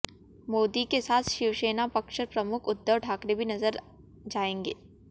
मोदी के साथ शिवसेना पक्ष प्रमुख उद्धव ठाकरे भी नजर जाएंगे